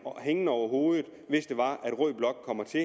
hængende over hovedet hvis rød blok kommer til